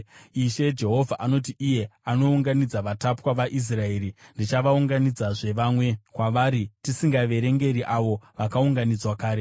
Ishe Jehovha anoti, iye anounganidza vakatapwa vaIsraeri, “Ndichaunganidzazve vamwe kwavari, tisingaverengeri avo vakaunganidzwa kare.”